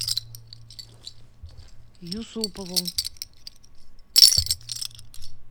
юсупову